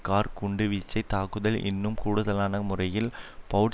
car குண்டுவீச்சுத் தாக்குதல் இன்னும் கூடுதலான முறையில் பெளவட்